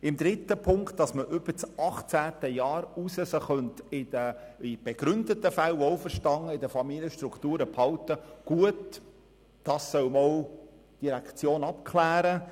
Dass man die UMA gemäss Ziffer 3 über das Alter von 18 Jahren hinaus in begründeten Fällen – wohlverstanden – in den Familien behalten könnte, soll die Direktion einmal abklären.